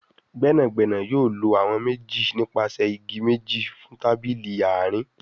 Gbẹ́nàgbẹ́nà yóò ló àwọn méjì nípasẹ ìgi méjì fún tábìlì àárín